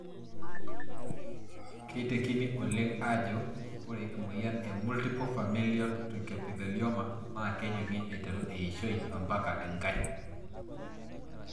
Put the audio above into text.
Keitekini oleng ajo ore emoyian e multiple familial trichoepithelioma naa kejungi aiteru eishoi ompaka enkae.